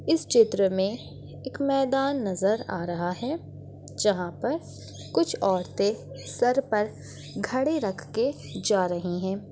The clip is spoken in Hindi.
इस चित्र मे एक मैदान नजर आ रहा है जहाँ पर कुछ औरतें सर पर घड़े रख के जा रही है।